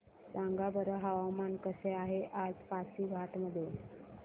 सांगा बरं हवामान कसे आहे आज पासीघाट मध्ये